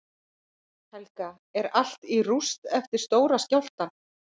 Helga: Er allt í rúst eftir stóra skjálftann?